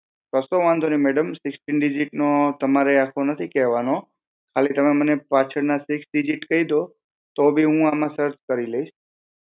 કસો વાંધો નાઈ madam sixteen digit નો તમારે આખો નથી કહેવાનો ખાલી તમે મને પાછળ ના six digit કઈ દો તો બી હું આમાં સર્ચ કરી લઇસ